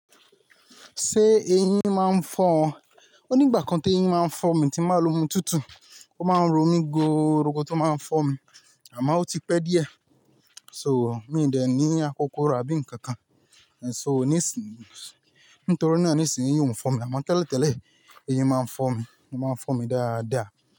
Ṣé eyín máa ń fọ ọ? O ní ìgbà kan tí eyín máa ń fọ mi tí n ba lo omi tútù, ó máa ń ro mí goorogo tó máa ń fọ mi, àmọ́ ó ti pẹ́ díẹ̀. So mi i dẹ̀ ní akokoro àbí ǹnkan kan, so nísìnyí, nítorí náà nísìnyí eyín ò ń fọ̀ mí, àmọ́ tẹ́lẹ̀ tẹ́lẹ̀ eyín máa ń fọ́ mi, ó máa ń fọ́ mi dáadáa.